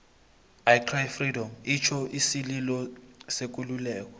i cry freedom itjho isililo sekululeko